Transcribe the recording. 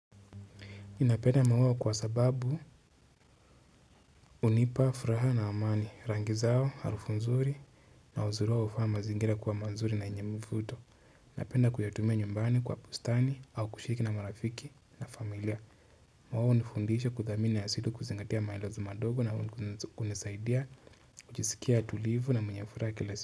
Ninapenda maua kwa sababu hunipa furaha na amani. Rangi zao, harufu nzuri na uzuri wao hufanya mazingira kwa mazuri na yenye mvuto. Napenda kuyatumia nyumbani kwa bustani au kushiriki na marafiki na familia. Maua hunifundisha kuthamini na yazidi kuzingatia maelezo madogo na hunisaidia kujisikia utulivu na mwenye furaha kila siku.